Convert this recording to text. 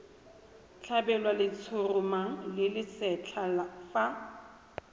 tlhabelwa letshoroma le lesetlha fa